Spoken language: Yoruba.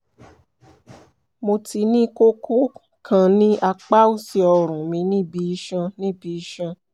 mo ti ní kókó kan ní apá òsì ọrùn mi níbi iṣan níbi iṣan